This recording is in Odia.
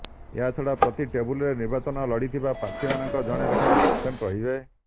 ଏହାଛଡ଼ା ପ୍ରତି ଟେବୁଲରେ ନିର୍ବାଚନ ଲଢ଼ିଥିବା ପ୍ରାର୍ଥୀମାନଙ୍କର ଜଣେ ଲେଖାଏଁ ଏଜେଣ୍ଟ ରହିବେ